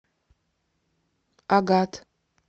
агат